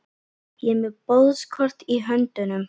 Ég er með boðskort í höndunum.